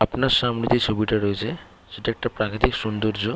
আপনার সামনে যে ছবিটি রয়েছে সেটা একটা প্রাকৃতিক সৌন্দর্য --